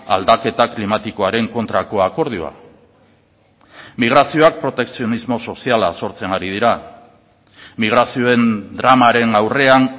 aldaketa klimatikoaren kontrako akordioa migrazioak protekzionismo soziala sortzen ari dira migrazioen dramaren aurrean